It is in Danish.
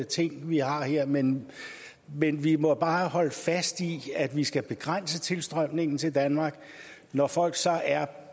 ting vi har her men men vi må bare holde fast i at vi skal begrænse tilstrømningen til danmark når folk så er